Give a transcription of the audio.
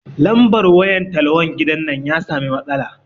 Lambar wayan talhon gidan nan ya sami matsala